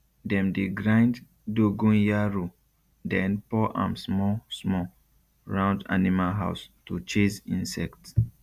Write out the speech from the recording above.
dem dey grind dogonyaro den pour am small small round animal house to chase insects